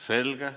Selge.